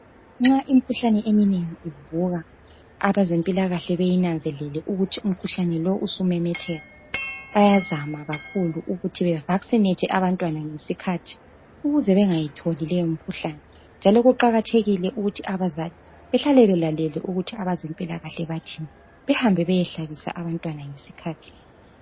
Nxa imikhuhlane eminengi ivuka abezempilakahle bayinanzelela ukuthi umkhuhlane lowo usumemetheka. Bayazama kakhulu ukuthi be vasinethe abantwana ngesikhathi ukuze bengayitholi leyo mkhuhlane njalo kuqakathekile ukuthi abazali behlale belalele ukuthi abezempilakahle bathini . Bahambe beyehlabisa abantwana ngesikhathi.